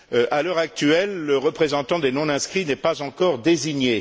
À l'heure actuelle, le représentant des non inscrits n'est pas encore désigné.